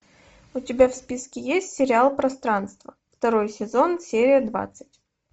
у тебя в списке есть сериал пространство второй сезон серия двадцать